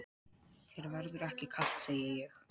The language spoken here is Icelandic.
Þér verður ekki kalt, segi ég.